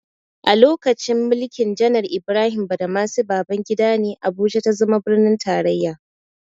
A lokacin mulkin janar Ibrahim Badamasi Babangida ne, Abuja ta zama birnin tarraya.